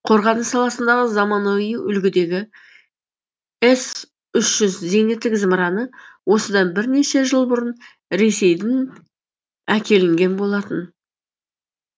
қорғаныс саласындағы заманауи үлгідегі эс үш жүз зениттік зымыраны осыдан бірнеше жыл бұрын ресейдін әкелінген болатын